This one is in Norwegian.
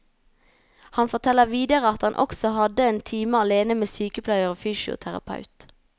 Han forteller videre at han også hadde en time alene med sykepleier og fysioterapeut.